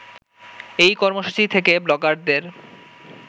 এই কর্মসূচি থেকে ব্লগারদের